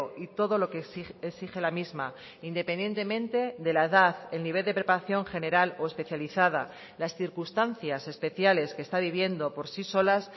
y todo lo que exige la misma independientemente de la edad el nivel de preparación general o especializada las circunstancias especiales que está viviendo por sí solas